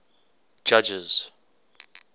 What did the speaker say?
judges